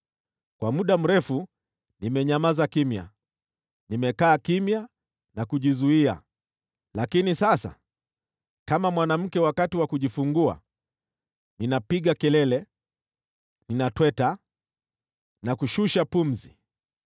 “Kwa muda mrefu nimenyamaza kimya, nimekaa kimya na kujizuia. Lakini sasa, kama mwanamke wakati wa kujifungua, ninapiga kelele, ninatweta na kushusha pumzi.